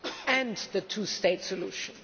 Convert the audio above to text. and to the two state solution.